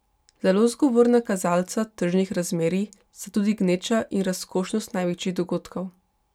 Zelo zgovorna kazalca tržnih razmerij sta tudi gneča in razkošnost največjih dogodkov.